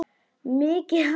Mikið hár?